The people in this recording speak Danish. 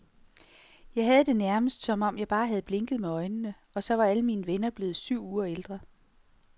Jeg havde det nærmest, som om jeg bare havde blinket med øjnene, og så var alle mine venner blevet syv uger ældre.